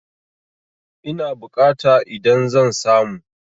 Ina bukata idan zan samu?